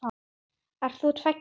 Ert þú tveggja ára?